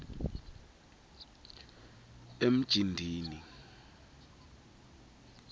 emjindini